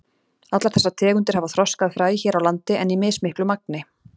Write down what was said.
Allar þessar tegundir hafa þroskað fræ hér á landi en í mismiklu magni.